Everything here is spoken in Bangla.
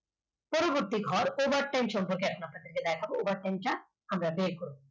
একটি ঘর পড়বার সম্পর্কে আপনাদের দেখাবো over time টা আমরা দেখব